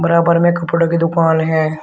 बराबर में कपड़ों की दुकान है।